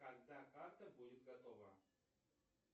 когда карта будет готова